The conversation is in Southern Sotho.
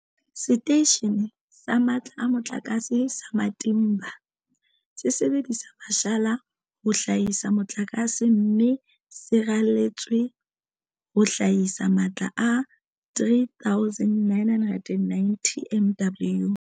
Seteishene sa Matla a Mo tlakase sa Matimba se sebedisa mashala ho hlahisa motlakase, mme se raletswe ho hlahisa matla a 3990 MW.